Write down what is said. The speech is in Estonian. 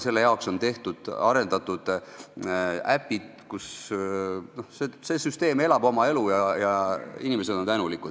Selle jaoks on tehtud äpid, see süsteem elab oma elu ja inimesed on tänulikud.